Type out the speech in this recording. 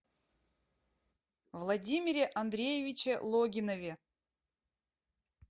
владимире андреевиче логинове